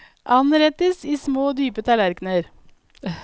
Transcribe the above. Anrettes i små, dype tallerkner.